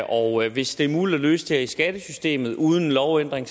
og hvis det er muligt at løse det her i skattesystemet uden lovændring